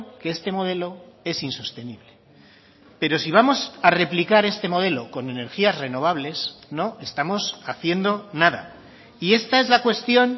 que este modelo es insostenible pero si vamos a replicar este modelo con energías renovables no estamos haciendo nada y esta es la cuestión